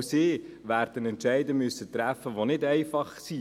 Auch sie werden Entscheide treffen müssen, die nicht einfach sind.